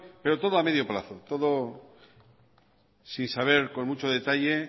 pero todo a medio plazo todo sin saber con mucho detalle